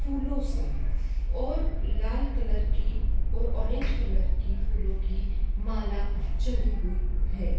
फूलों से और लाल कलर की और ऑरेंज कलर की फूलों की माला चढ़ी हुई है।